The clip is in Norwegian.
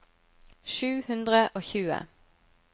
sju hundre og tjue